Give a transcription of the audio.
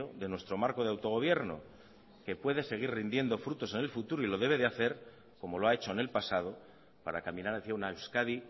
de nuestro marco de autogobierno que puede seguir rindiendo frutos en el futuro y lo debe de hacer como lo ha hecho en el pasado para caminar hacía una euskadi